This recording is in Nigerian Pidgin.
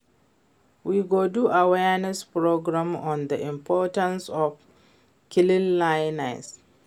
We go do awareness program on the importance of cleanliness